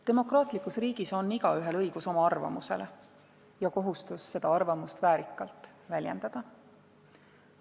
Demokraatlikus riigis on igaühel õigus oma arvamusele ja kohustus seda arvamust väärikalt väljendada.